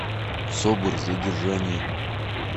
собр задержание